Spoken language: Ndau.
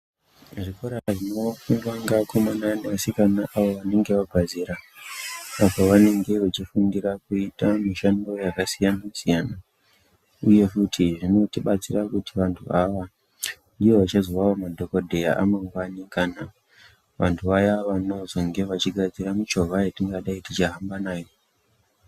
Zvikora zvinofundwa ngeakomana neasikana avo vanenge vabva zera apo vanenge vechifundira kuita mishando yakasiyana-siyana. Uye futi zvinotibatsira kuti vantu ava vange vachizovawo madhokodhaeya amamngwani kana vantu vaya vanezenge vachigadzira michovha yatingadai tichihamba nayo.